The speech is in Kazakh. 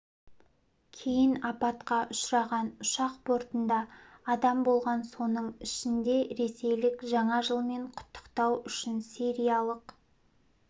кейін апатқа ұшыраған ұшақ бортында адам болған соның ішінде ресейлік жаңа жылмен құттықтау үшін сириялық